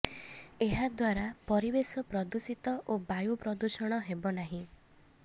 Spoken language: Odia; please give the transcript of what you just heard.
ଏହାଦ୍ବାରା ପରିବେଶ ଦୂଷିତ ଓ ବାୟୁ ପ୍ରଦୂଷଣ ହେବ ନାହିଁ